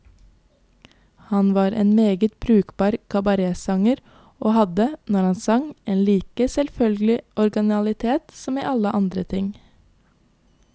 Han var også en meget brukbar kabaretsanger, og hadde, når han sang, en like selvfølgelig originalitet som i alle andre ting.